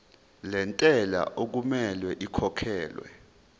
lentela okumele ikhokhekhelwe